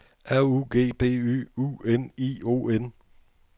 R U G B Y U N I O N